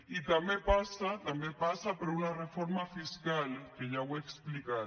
i també passa també passa per una reforma fiscal que ja ho he explicat